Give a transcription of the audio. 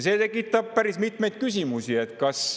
See tekitab päris mitmeid küsimusi.